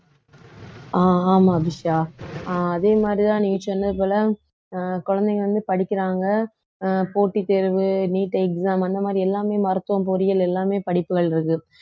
அஹ் ஆமா அபிஷியா அஹ் அதே மாதிரிதான் நீங்க சொன்னது போல அஹ் குழந்தைங்க வந்து படிக்கிறாங்க அஹ் போட்டித்தேர்வு neet exam அந்த மாதிரி எல்லாமே மருத்துவம் பொறியியல் எல்லாமே படிப்புகள் இருக்கு